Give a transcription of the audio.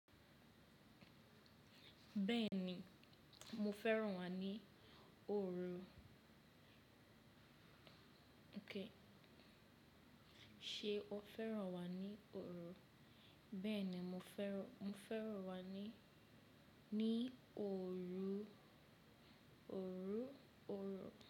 Bẹ́ẹ̀ni, mo fẹ́ràn wà ní òru. Kí ṣe o fẹ́ràn wà ní òru? Bẹ́ẹ̀ni, mo fẹ́ràn, mo fẹ́ràn wà ní, ní òru, òrú, òrò.